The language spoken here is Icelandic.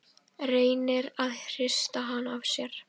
Reynir að hrista hana af sér.